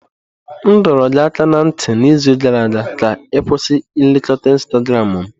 M dọrọ gị aka ná ntị n'izu gara aga ka ị kwụsị nlekota Instagramu m!